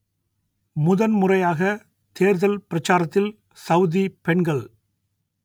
முதன்முறையாக தேர்தல் பிரச்சாரத்தில் சவுதி பெண்கள்